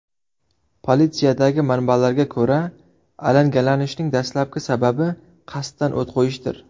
Politsiyadagi manbalarga ko‘ra, alangalanishning dastlabki sababi qasddan o‘t qo‘yishdir.